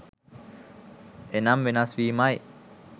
එනම් වෙනස්වීමයි